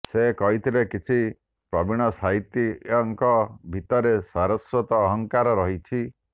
ସେ କହିଥିଲେ କିଛି ପ୍ରବୀଣ ସାହିତ୍ୟିକଙ୍କ ଭିତରେ ସାରସ୍ବତ ଅହଙ୍କାର ରହିଛି